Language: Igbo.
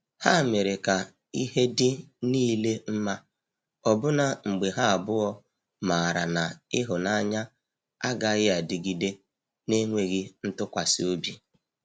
Ha mere ka ihe dị niile mma, ọbụna mgbe ha abụọ maara na ịhụnanya agaghị adịgide na-enweghị ntụkwasị obi.